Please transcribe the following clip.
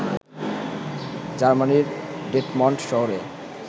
জার্মানির ডেটমল্ড শহরে